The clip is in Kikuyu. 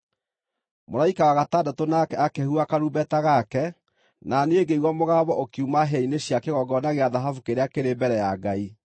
Mũraika wa gatandatũ nake akĩhuha karumbeta gake, na niĩ ngĩigua mũgambo ũkiuma hĩa-inĩ cia kĩgongona gĩa thahabu kĩrĩa kĩrĩ mbere ya Ngai.